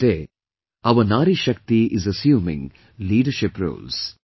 Today our Nari Shakti is assuming leadership roles